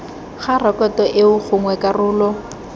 ga rekoto eo gongwe karolo